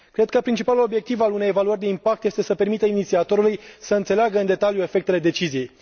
Cred că principalul obiectiv al unei evaluări de impact este să permită inițiatorului să înțeleagă în detaliu efectele deciziei.